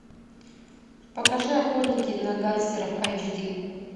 покажи охотники на гангстеров айч ди